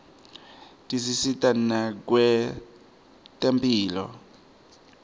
tisita nakwetemphilo